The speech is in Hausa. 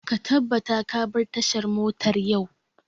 Ka tabbata ka bar tashar motar yau!